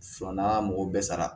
n'an m'o bɛɛ sara